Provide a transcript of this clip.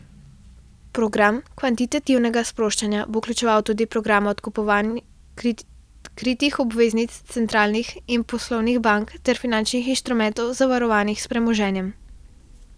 Program kvantitativnega sproščanja bo vključeval tudi programa odkupovanja kritih obveznic centralnih in poslovnih bank ter finančnih instrumentov, zavarovanih s premoženjem.